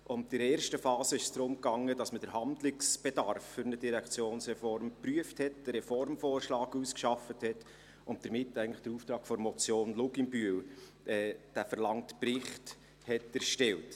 In der ersten Phase ging es darum, dass man den Handlungsbedarf für eine Direktionsreform prüfte, einen Reformvorschlag ausarbeitete und damit eigentlich den Auftrag der Motion Luginbühl welcher einen Bericht verlangte, erstellte.